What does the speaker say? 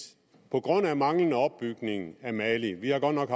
på grund af manglende opbygning af mali vi har godt nok